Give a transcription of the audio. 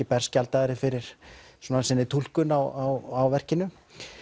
berskjaldaðir fyrir sinni túlkun á verkinu